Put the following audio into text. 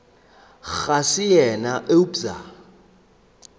re ga se yena eupša